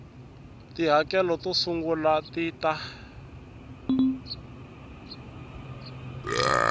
tihakelo to sungula ti ta